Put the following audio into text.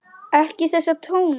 Ekki þessa tóna!